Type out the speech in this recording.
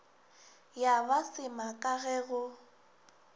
ya ba semaka ge go